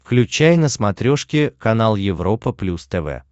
включай на смотрешке канал европа плюс тв